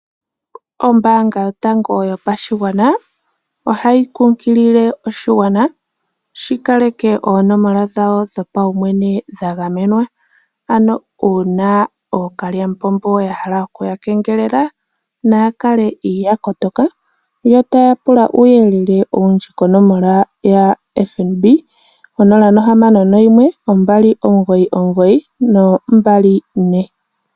Ombanga yotango yopashigwana otayi kunkilile ooshigwana shi kaleke oonomola dhawo dho paumwene dha gamenwa, ano uuna ookalyamupombo ya hala okuya kengelela naya kale ya kotoka, yo taya pula uuyelele owundji konomola yaFNB 06129924.